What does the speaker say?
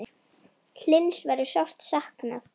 Hlyns verður sárt saknað.